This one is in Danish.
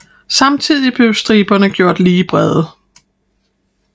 Samtidig blev striberne gjort lige brede